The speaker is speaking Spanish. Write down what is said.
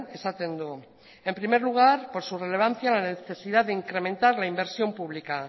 esaten du en primer lugar por su relevancia la necesidad de incrementar la inversión pública